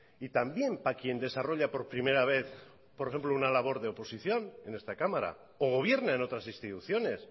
y también para quien desarrolla por primera vez por ejemplo una labor de oposición en esta cámara o gobierna en otras instituciones